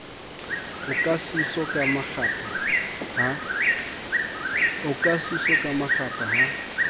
oka seso ka makgapha ha